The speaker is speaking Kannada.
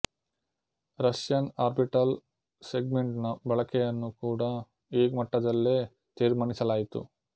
ರಷ್ಯನ್ ಆರ್ಬಿಟಲ್ ಸೆಗ್ಮೆಂಟ್ ನ ಬಳಕೆಯನ್ನು ಕೂಡ ಈ ಮಟ್ಟದಲ್ಲೇ ತೀರ್ಮಾನಿಸಲಾಯಿತು